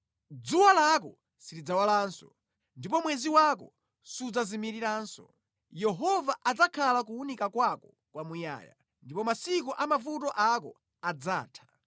Dzuwa lako silidzalowanso, ndipo mwezi wako sudzazimiriranso; Yehova adzakhala kuwunika kwako kwamuyaya, ndipo masiku a mavuto ako adzatha.